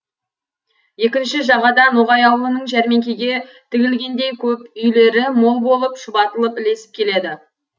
екінші жағада ноғай аулының жәрмеңкеге тігілгендей көп үйлері мол болып шұбатылып ілесіп келеді